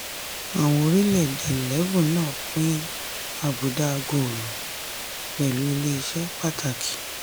àwọn orílẹ̀ èdè eleven náà pín àbùdá àgòòrò pẹ̀lú ilé ìṣe pàtàkì.